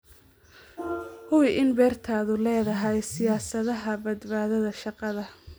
Hubi in beertaadu leedahay siyaasadaha badbaadada shaqada.